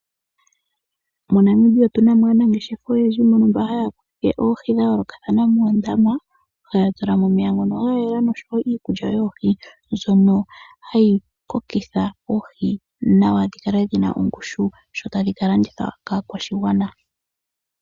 MoNamibia otu na mo aanangeshefa oyendji mbono haya kunu oohi dha yoolokathana moondama haya tula mo omeya ngono ga yela oshowo iikulya yoohi mbyono hayi kokitha oohi nawa dhi kale dhina ongushu sho tadhi ka landithwa kaakwashigwana.